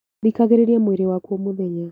Thikagĩrĩria mwĩrĩ waku o mũthenya